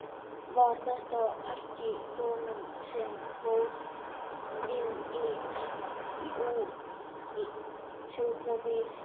Var þetta ekki konan sem fór inn í sjúkrabílinn?